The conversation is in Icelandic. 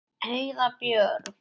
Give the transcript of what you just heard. Heiða Björg.